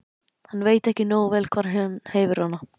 Hann veit ekki nógu vel hvar hann hefur hana.